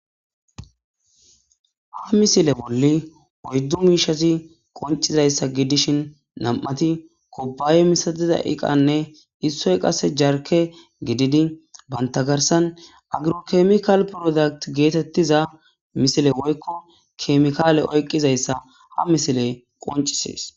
Ha misile bolla oyddu mishazi qoncizaysa gidishn 2ti kubaye masatiza eqanne issay qase jarke gidid banta garsan agro chemical product getetiza misile woyko chemicale ba garsan oykidaysa ha misiley qoncises.